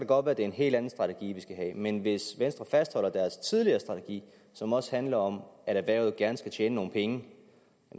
godt være det er en helt anden strategi vi skal have men hvis venstre fastholder deres tidligere strategi som også handler om at erhvervet gerne skal tjene nogle penge